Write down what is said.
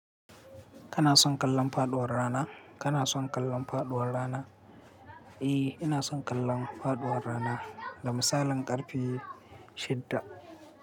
Kana son kallon faɗuwar rana? Kana son kallon faɗuwar rana? Eh, ina son kallon faɗuwar rana da misalin ƙarfe shidda.